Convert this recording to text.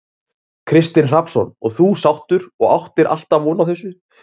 Kristinn Hrafnsson: Og þú sáttur og, og áttir alltaf von á þessu?